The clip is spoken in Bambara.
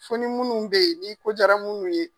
Fo ni munnu be yen ni ko jara munnu ye.